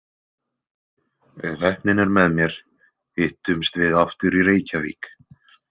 Ef heppnin er með mér hittumst við aftur í Reykjavík.